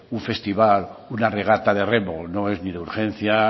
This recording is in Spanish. un festival una regata de remo no es ni de urgencia